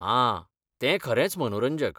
आ, तें खरेंच मनोरंजक.